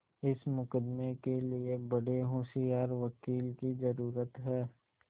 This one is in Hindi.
इस मुकदमें के लिए बड़े होशियार वकील की जरुरत है